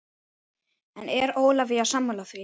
En er Ólafía sammála því?